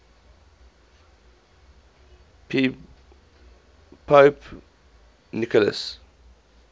pope nicholas v